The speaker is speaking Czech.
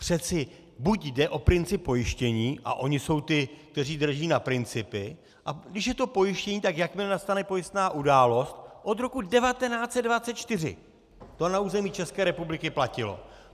Přece buď jde o princip pojištění, a oni jsou ti, kteří drží na principy, a když je to pojištění, tak jakmile nastane pojistná událost, od roku 1924 to na území České republiky platilo.